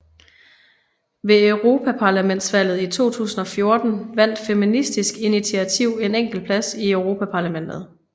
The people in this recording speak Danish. Ved Europaparlamentsvalget 2014 vandt Feministisk Initiativ en enkelt plads i Europaparlamentet